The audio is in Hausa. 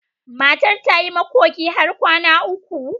Matar ta yi makoki har kwana uku.